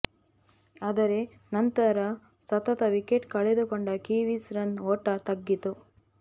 ಆದರೆ ನಂತರ ಸತತ ವಿಕೆಟ್ ಕಳೆದುಕೊಂಡ ಕಿವೀಸ್ ರನ್ ಓಟ ತಗ್ಗಿತು